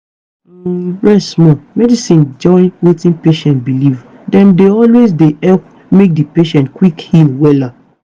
umrest small. medicine join wetin patient believe dem dey always dey help make di patient quick heal wella.